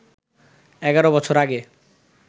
১১ বছর আগে